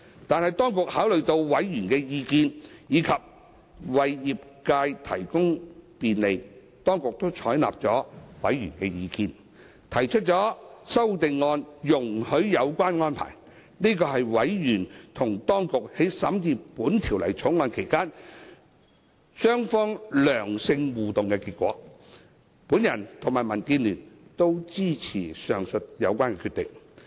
但是，當局考慮到委員的意見，以及為業界提供便利，當局採納了法案委員會的意見，提出容許有關安排的修正案，這是委員與當局在審議《條例草案》期間良性互動的結果，我與民主建港協進聯盟均支持上述決定。